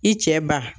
I cɛ ba